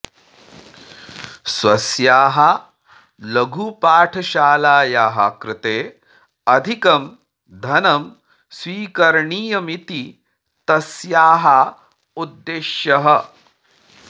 स्वस्याः लघुपाठशालायाः कृते अधिकं धनं स्वीकरणीयमिति तस्याः उद्देश्यः